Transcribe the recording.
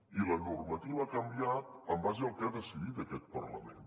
i la normativa ha canviat en base al que ha decidit aquest parlament